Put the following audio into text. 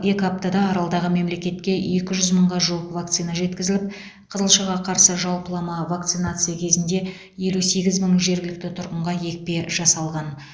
екі аптада аралдағы мемлекетке екі жүз мыңға жуық вакцина жеткізіліп қызылшаға қарсы жалпылама вакцинация кезінде елі сегіз мың жергілікті тұрғынға екпе жасалған